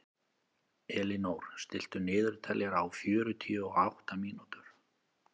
Elínór, stilltu niðurteljara á fjörutíu og átta mínútur.